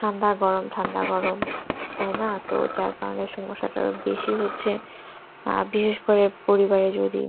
ঠান্ডা গরম ঠান্ডা গরম তাই না তো তার কারণ বসতো এটা বেশি হচ্ছে আহ বিশেষ করে পরিবারে যদি